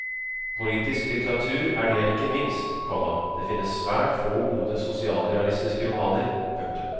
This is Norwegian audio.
Politisk litteratur er det jeg liker minst, komma det finnes svært få gode sosialrealistiske romaner. punktum